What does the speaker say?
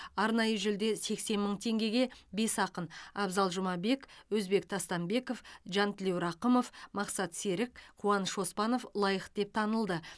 арнайы жүлде сексен мың теңгеге бес ақын абзал жұмабек өзбек тастамбеков жантілеу рақымов мақсат серік қуаныш оспанов лайық деп танылды